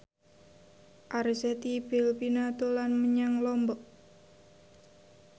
Arzetti Bilbina dolan menyang Lombok